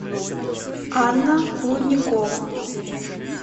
анна лудникова